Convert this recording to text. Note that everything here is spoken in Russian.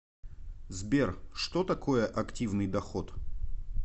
сбер что такое активный доход